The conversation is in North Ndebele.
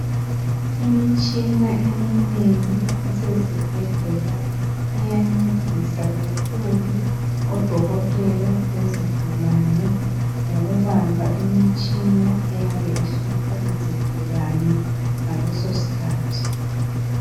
Imitshina eminengi esezibhedlela iyancedisa kakhulu odokotela lezigulane ngokubamba imitshina eyabe ihlupha izigulani ngaleso sikhathi.